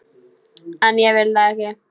En ég vil það ekki.